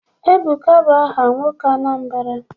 Ebuka bụ aha nwoke Anambra.